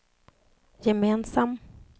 gemensam